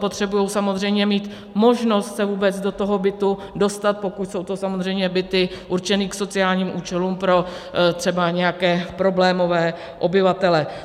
Potřebují samozřejmě mít možnost se vůbec do toho bytu dostat, pokud jsou to samozřejmě byty určené k sociálním účelům, třeba pro nějaké problémové obyvatele.